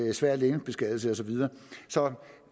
en svær legemsbeskadigelse og så videre så